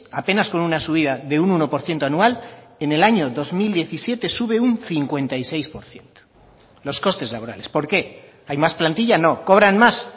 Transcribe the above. apenas con una subida de un uno por ciento anual en el año dos mil diecisiete sube un cincuenta y seis por ciento los costes laborales por qué hay más plantilla no cobran más